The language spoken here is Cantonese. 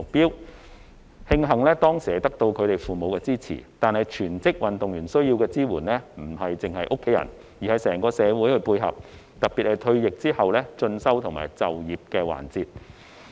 令人慶幸的是，他們當時得到父母的支持，但全職運動員需要的支援不單來自家人，他們退役後在進修和就業的環節上，尤其需要整個社會的配合。